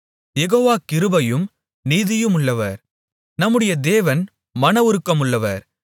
யெகோவா கிருபையும் நீதியுமுள்ளவர் நம்முடைய தேவன் மனவுருக்கம் உள்ளவர்